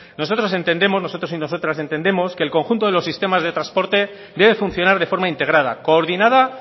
nosotros entendemos nosotras y nosotros entendemos que el conjunto de los sistemas del trasporte debe funcionar de forma integrada coordinada